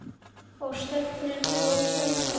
Og stefnir þú þangað?